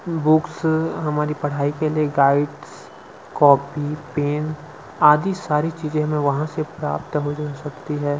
Books हमारी पढ़ाई के लिए गाइडस कॉपी पेन आदि सारी चीज हमें वहाँ से प्राप्त हो जा सकती है।